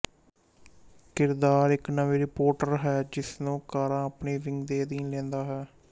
ਕਿਰਦਾਰ ਇੱਕ ਨਵੀਂ ਰਿਪੋਰਟਰ ਹੈ ਜਿਸ ਨੂੰ ਕਾਰਾ ਆਪਣੀ ਵਿੰਗ ਦੇ ਅਧੀਨ ਲੈਂਦਾ ਹੈ